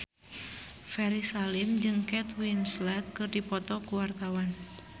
Ferry Salim jeung Kate Winslet keur dipoto ku wartawan